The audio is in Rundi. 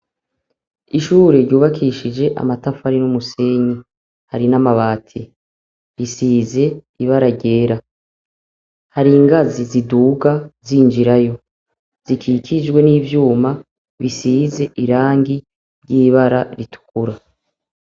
Ishure ryubakishije amatafari n'umusenyi. Hari n'amabati. risize ibara ryera. Hari ingazi ziduka zinjirayo, zikikijwe n'ivyuma bisize irangi ry'ibara ritukura.